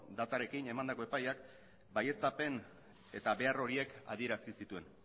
datarekin emandako epaiak baieztapen eta behar horiek adierazi zituen